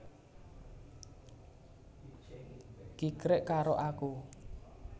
Kikrik karo aku